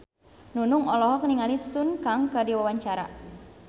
Nunung olohok ningali Sun Kang keur diwawancara